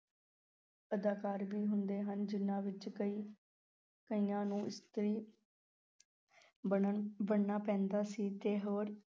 ਅਦਾਕਾਰ ਵੀ ਹੁੰਦੇ ਹਨ ਜਿਨ੍ਹਾਂ ਵਿੱਚ ਕਈ ਕਈਆਂ ਨੂੰ ਇਸਤਰੀ ਬਣਨ ਬਣਨਾ ਪੈਂਦਾ ਸੀ ਤੇ ਹੋਰ